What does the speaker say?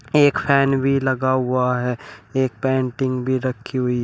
एक फैन भी लगा हुआ है एक पेंटिंग भी रखी हुई--